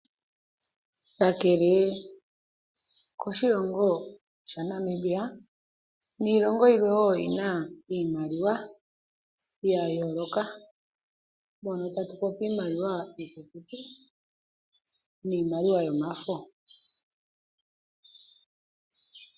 Kakele koshilongo sha Namibia niilongo yimwe wo oyina iimaliwa ya yoloka mono tatupopi iimaliwa ikukutu niimaliwa yomafo.